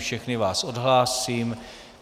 Všechny vás odhlásím.